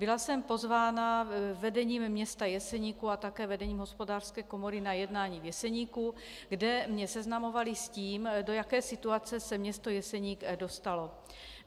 Byla jsem pozvána vedením města Jeseníku a také vedením hospodářské komory na jednání v Jeseníku, kde mě seznamovali s tím, do jaké situace se město Jeseník dostalo.